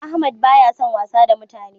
Ahmad ba ya san wasa da mutane